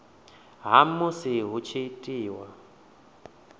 ha musi hu tshi itwa